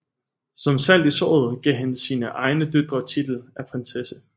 Som salt i såret gav han sine egne døtre titel af prinsesse